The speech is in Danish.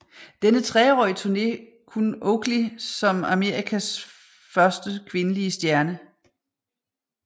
Denne treårige turné kun Oakley som Amerikas første kvindelige stjerne